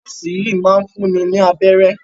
Nọ́ọ́sì sì yìí máa ń fúnni ní abẹ́rẹ́.